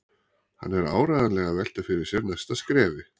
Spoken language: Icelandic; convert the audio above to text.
Hann er áreiðanlega að velta fyrir sér næsta skrefi.